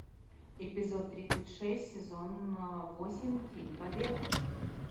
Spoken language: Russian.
эпизод тридцать шесть сезон восемь фильм побег